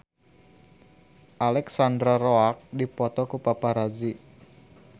Alexandra Roach dipoto ku paparazi